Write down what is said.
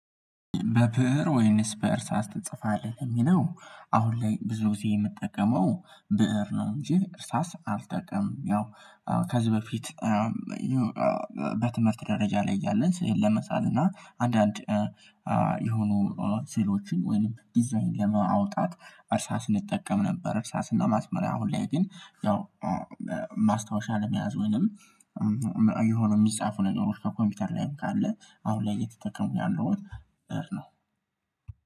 በብእር ወይንስ በእርሳስ ትጽፋለህ? የሚለው አሁን ላይ ብዙ ጊዜ የምጠቀመው ብእር ነው እንጂ እርሳስ አልጠቀም። ያው ከዚህ በፊት በትምህርት ደረጃ ላይ እያለን ስዕል ለመሳል እና አንዳንድ የሆኑ ሴሎችን ወይም ዲዛይን ለማውጣት እሳስ እንጠቀም ነበር። እሳስና ማስመሪያ አሁን ላይ ግን ያው ማስታወሻ ለመያዝ ወይንም የሆነ የሚጻፉ ነገሮች ከኮምፒውተር ላይም ካለ አሁን ላይ የተጠቀሙ ያለው ነው።